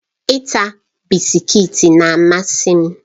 Ita bisikiiti na-amasị m